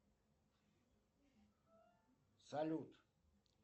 салют